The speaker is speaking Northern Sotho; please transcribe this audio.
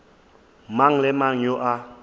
mang le mang yo a